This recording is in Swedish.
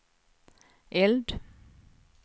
eld